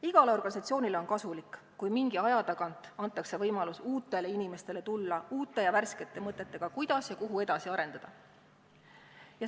" Igale organisatsioonile on kasulik, kui mingi aja tagant antakse võimalus uutele inimestele tulla uute ja värskete mõtetega, kuidas ja kuhu edasi arendada.